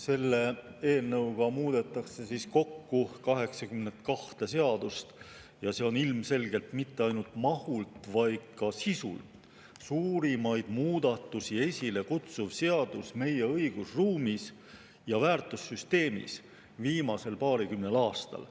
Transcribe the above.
Selle eelnõuga muudetakse kokku 82 seadust ja see on ilmselgelt mitte ainult mahult, vaid ka sisult suurimaid muudatusi esile kutsuv seadus meie õigusruumis ja väärtussüsteemis viimasel paarikümnel aastal.